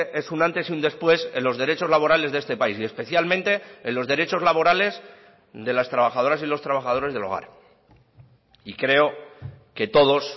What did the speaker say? es un antes y un después en los derechos laborales de este país y especialmente en los derechos laborales de las trabajadoras y los trabajadores del hogar y creo que todos